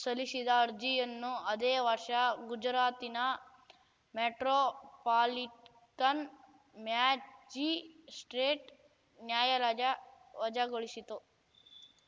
ಸಲ್ಲಿಸಿದ್ದ ಅರ್ಜಿಯನ್ನು ಅದೇ ವರ್ಷ ಗುಜರಾತಿನ ಮೆಟ್ರೋಪಾಲಿಟನ್‌ ಮ್ಯಾಜಿಸ್ಪ್ರೇಟ್‌ ನ್ಯಾಯಾಲಯ ವಜಾಗೊಳಿಸಿತ್ತು